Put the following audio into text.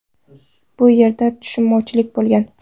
Bu yerda tushunmovchilik bo‘lgan.